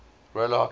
roller hockey quad